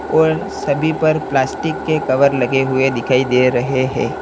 और सभी पर प्लास्टिक के कवर लगे हुए दिखाई दे रहे हैं।